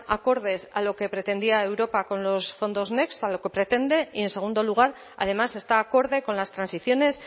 acordes a lo que pretendía europa con los fondos next a lo que pretende y en segundo lugar además está acorde con las transiciones